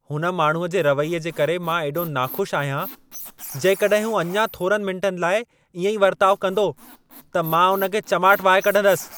हुन माण्हूअ जे रवैये जे करे मां एॾो नाख़ुशि आहियां, जेकॾहिं हूं अञा थोरनि मिंटनि लाइ इएं ई वर्ताउ कंदो त मां हुन खे चमाट वहाए कढंदसि।